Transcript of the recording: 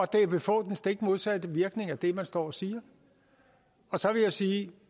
det vil få den stik modsatte virkning af det man står og siger så vil jeg sige at